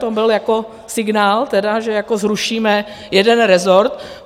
To byl jako signál tedy, že jako zrušíme jeden reszrt?